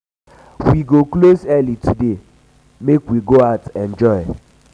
we go close early today .make .make we go out enjoy